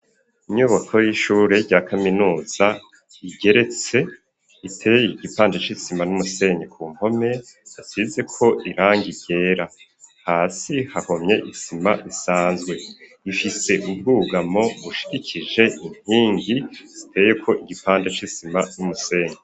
Inyubako y'ishure rya kaminuza igeretse, iteye igipande c'isima n'umusenyi ku mpome hasizeko irangi ryera. Hasi hahomye isima isanzwe. Ifise ubwugamo bushigikije inkingi ziteyeko igipande c'isima n'umusenyi.